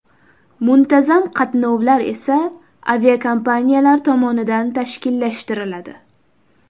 Muntazam qatnovlar esa aviakompaniyalar tomonidan tashkillashtiriladi.